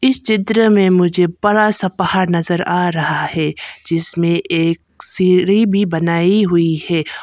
इस चित्र में मुझे बड़ा सा पहाड़ नजर आ रहा हैं जिसमे एक सीढ़ी भी बनाई हुई है।